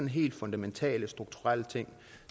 helt fundamentale strukturelle ting